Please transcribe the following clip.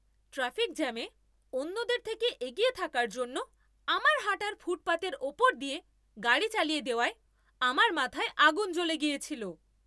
Traffic জ্যামে অন্যদের থেকে এগিয়ে থাকার জন্য আমার হাঁটার ফুটপাথের ওপর দিয়ে গাড়ি চালিয়ে দেওয়ায় আমার মাথায় আগুন জ্বলে গিয়েছিল।